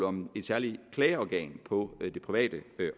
om et særligt klageorgan på det private